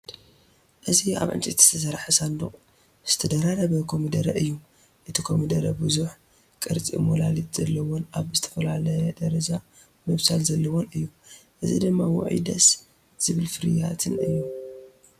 እዚ ኣብ ዕንጨይቲ ዝተሰርሐ ሳንዱቕ ዝተደራረበ ኮሚደረ እዩ። እቲ ኮሚደረ ብዙሕ፡ ቅርጺ ሞላሊት ዘለዎን ኣብ ዝተፈላለየ ደረጃ ምብሳል ዘለዎን እዩ። እዚ ድማ ውዕይ ደስ ዝበል ፍርያትን እዩ።